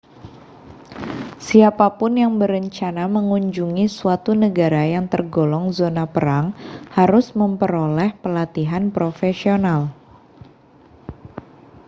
siapa pun yang berencana mengunjungi suatu negara yang tergolong zona perang harus memperoleh pelatihan profesional